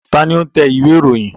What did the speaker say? Ta ni ó ń tẹ ìwé-ìròyìn?